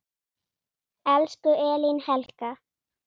Elsku Elín Helga.